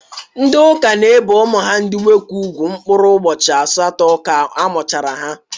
Ndi ụka ne ebe umu ha ndi nwoke ùgwú mkupụrụ ubochi asaatọ ka amuchara ha.